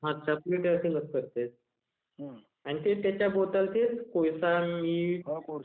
plate अरथिंगच करत्यात... is not clear